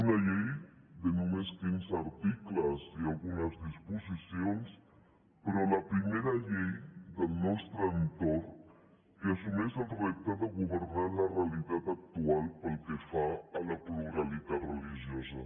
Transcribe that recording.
una llei de només quinze articles i algunes disposicions però la primera llei del nostre entorn que assumeix el repte de governar la realitat actual pel que fa a la pluralitat religiosa